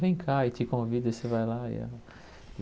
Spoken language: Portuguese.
Vem cá, e te convido e você vai lá.